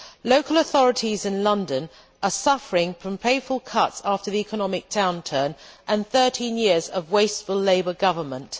Local authorities in London are suffering from painful cuts after the economic downturn and thirteen years of wasteful Labour government.